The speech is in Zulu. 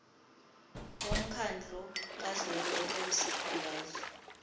womkhandlu kazwelonke wezifundazwe